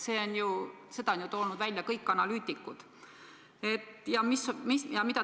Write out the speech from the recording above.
Seda on toonud välja kõik analüütikud.